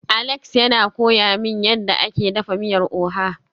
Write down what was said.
Alex yana koya min yadda ake dafa miyar oha